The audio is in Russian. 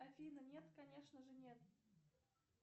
афина нет конечно же нет